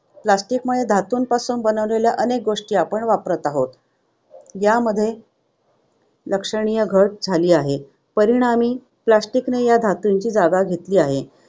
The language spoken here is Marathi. Plastic मुळे धातूपासून बनवलेल्या अनेक गोष्टी आपण वापरत आहोत. यामध्ये लक्षणीय घट झाली आहे. परिणामी, plastic ने या धातूंची जागा घेतली आहे.